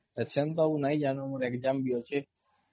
ମୋର exam ବି ଅଛେ